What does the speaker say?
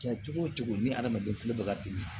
Kɛ cogo wo cogo ni adamaden tulo bɛ ka dimi